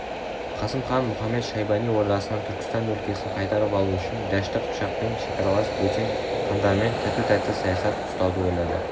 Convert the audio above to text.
қасым хан мұхамед-шайбани ордасынан түркістан өлкесін қайтарып алу үшін дәшті қыпшақпен шекаралас бөтен хандармен тату-тәтті саясат ұстауды ойлады